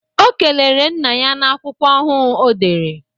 Ọ kelere nna ya n'akwụkwọ ọhuu ọdere